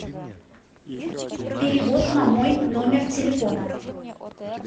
перевод на мой номер телефона